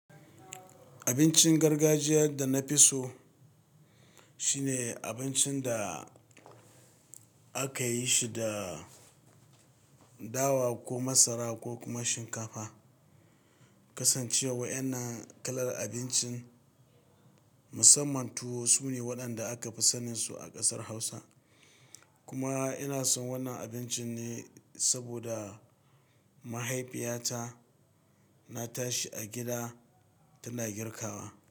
Abincin gargajiyar da na fi so, shine abincin da aka yi shi da dawa ko masara ko kuma shinkafa. Kasancewa wayannan kalar abincin musamman tuwo sune waɗanda aka fi sanin su a ƙasar Hausa. Kuma ina son wannan abincin ne saboda mahaifiyata na tashi a gida tana girkawa.